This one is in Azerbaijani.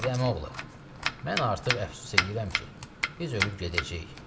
Dedi: "Əmioğlu, mən artıq əfsus eləyirəm ki, biz ölüb gedəcəyik.